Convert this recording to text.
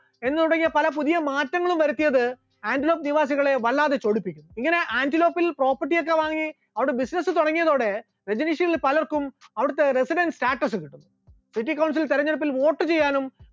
എന്ന് തുടങ്ങിയ പല പുതിയ മാറ്റങ്ങളും വരുത്തിയത് ആന്റിലോക്ക് നിവാസികളെ വല്ലാതെ ചൊടിപ്പിച്ചു, ഇങ്ങനെ ആന്റിലോക്കിൽ property ഒക്കെ വാങ്ങി അവിടെ business തുടങ്ങിയതോടെ രജനീഷിൽ പലർക്കും അവിടുത്തെ residents status ലഭിച്ചു, city councel ലെ തിരഞ്ഞെടുപ്പിൽ vote ചെയ്യാനും